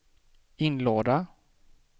inlåda